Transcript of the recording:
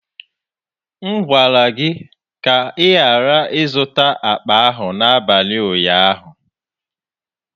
M gwara gị ka ị ghara ịzụta akpa ahụ n'abalị ụnyaahụ!